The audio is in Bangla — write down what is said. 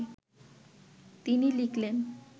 তিনি লিখলেন